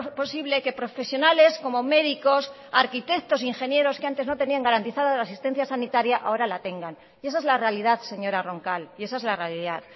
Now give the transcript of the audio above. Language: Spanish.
posible que profesionales como médicos arquitectos ingenieros que antes no tenían garantizada la asistencia sanitaria ahora la tengan y esa es la realidad señora roncal y esa es la realidad